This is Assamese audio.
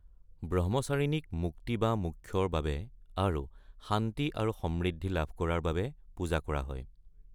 ব্ৰহ্মচাৰিনীক মুক্তি বা মোক্ষৰ বাবে আৰু শান্তি আৰু সমৃদ্ধি লাভ কৰাৰ বাবে পূজা কৰা হয়।